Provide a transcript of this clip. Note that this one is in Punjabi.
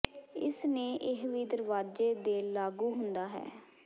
ਇਸ ਨੇ ਇਹ ਵੀ ਦਰਵਾਜ਼ੇ ਦੇ ਲਾਗੂ ਹੁੰਦਾ ਹੈ